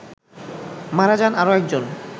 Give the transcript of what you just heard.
মারা যান আরো একজন